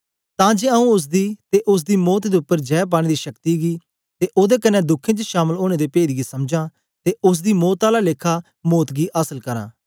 तां जे आऊँ ओसदी ते ओसदी मौत दे उपर जै पाने दी शक्ति गी ते ओदे कन्ने दुखें च शामल ओनें दे पेद गी समझां ते ओसदी मौत आला लेखा मौत गी आसल करां